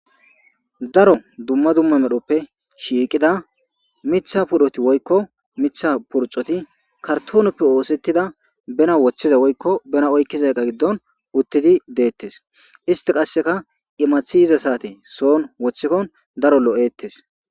Daro dumma dumma medhoppe shiiqida mitha pudhoti woykko mitha purxoti kartooneppe oosettida bena woththiza woykko bena oykkizaeqa giddon uttidi deettes isti qasseka imathi yiza saate soon woththikkon daro lo'ettes.